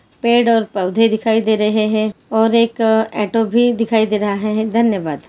पेड़ और पौधे दिखाई दे रहे है और एक ऑटो भी दिखाई दे रहा है धन्यवाद।